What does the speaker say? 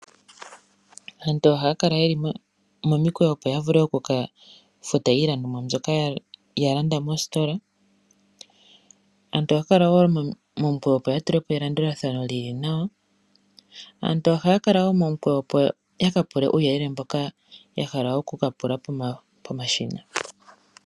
Aantu ohaya kala ye li momikweyo, opo ya vule oku ka futa iilandomwa mboka ya landa mositola. Aantu ohaya kala wo ye li momukweyo, opo ya tule po elandulathano li li nawa. Aantu ohaya kala wo momukweyo, opo ya ka pule uuyelele mboka ya hala oku ka pula pomashina.